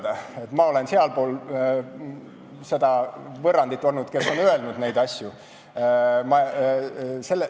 Ma olen olnud n-ö sealpool seda võrrandit, st see, kes on öelnud neid asju.